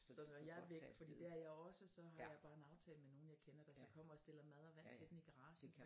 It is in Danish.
Så når jeg er væk fordi det er jeg også så har jeg bare en aftale med nogle jeg kender der så kommer og stiller mad og vand til den i garagen